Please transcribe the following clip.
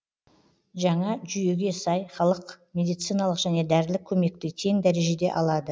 жаңа жүйеге сай халық медициналық және дәрілік көмекті тең дәрежеде алады